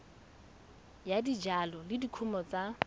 ya dijalo le dikumo tsa